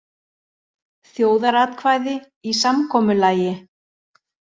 Þjóðaratkvæði í samkomulagi